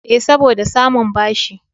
Eh, saboda samun bashi.